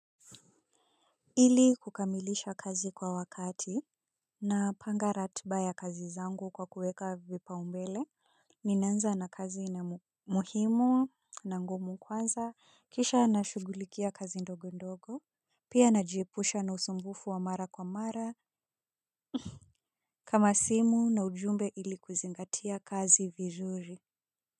Ili kukamilisha kazi kwa wakati napanga ratba ya kazi zangu kwa kuweka vipaumbele. Ninaanza na kazi na muhimu na ngumu kwanza kisha nashughulikia kazi ndogo ndogo. Pia najiepusha na usumbufu wa mara kwa mara kama simu na ujumbe ili kuzingatia kazi vizuri.